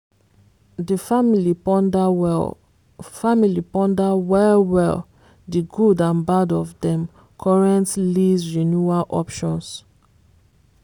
di family ponder well family ponder well well di good and bad of dem current lease renewal options.